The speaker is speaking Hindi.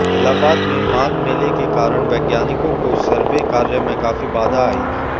इलाहाबाद में माघ मेले के कारण वैज्ञानिकों को सर्वे कार्य में काफी बाधा आएगी